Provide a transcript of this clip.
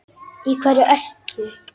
Í hverju ert þú?